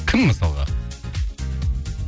кім мысалға